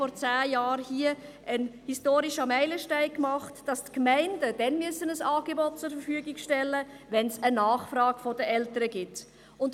Vor zehn Jahren haben wir hier den historischen Meilenstein beschlossen, dass die Gemeinden dann ein Angebot zur Verfügung stellen müssen, wenn eine Nachfrage der Eltern besteht.